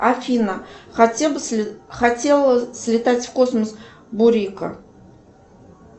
афина хотела слетать в космос бурико